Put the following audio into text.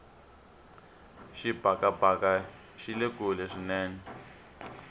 xibakabaka xile kule swinene